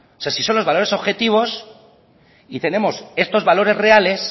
sea si son los valores objetivos y tenemos estos valores reales